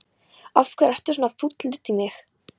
Af hverju ertu svona fúll út í mig?